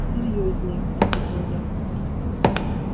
серьёзнее ответил я